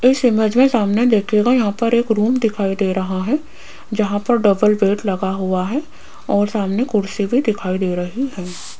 इस इमेज मे सामने देखियेगा यहां पर एक रूम दिखाई दे रहा है जहां पर डबल बेड लगा हुआ है और सामने कुर्सी पर दिखाई दे रही है।